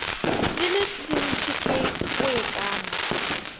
di le dintši ke boikano